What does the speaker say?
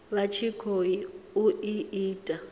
vha tshi khou i ita